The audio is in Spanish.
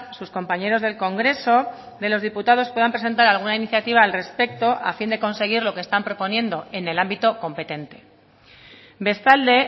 sus compañeros del congreso de los diputados puedan presentar alguna iniciativa al respecto a fin de conseguir lo que están proponiendo en el ámbito competente bestalde